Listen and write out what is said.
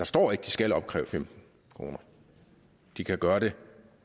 står at de skal opkræve femten kroner de kan gøre det